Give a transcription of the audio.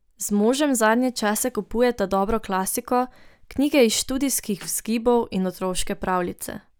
Z možem zadnje čase kupujeta dobro klasiko, knjige iz študijskih vzgibov in otroške pravljice.